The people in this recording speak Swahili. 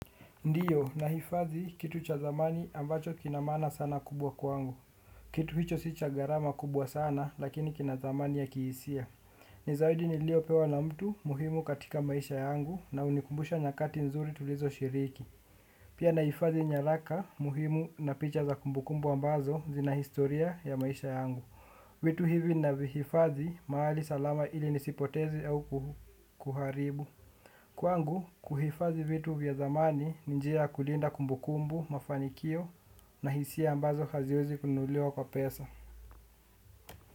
Ndiyo, nahifadhi kitu cha thamani ambacho kina maana sana kubwa kwangu. Kitu hicho si cha gharama kubwa sana lakini kina thamani ya kihisia. Ni zawadi niliyopewa na mtu muhimu katika maisha yangu na hunikumbusha nyakati nzuri tulizoshiriki. Pia nahifadhi nyaraka muhimu na picha za kumbukumbu ambazo zina historia ya maisha yangu. Vitu hivi navihifadhi mahali salama ili nisipoteze au kuharibu. Kwangu, kuhifadhi vitu vya thamani ni njia ya kulinda kumbu kumbu, mafanikio na hisia ambazo haziwezi kununuliwa kwa pesa.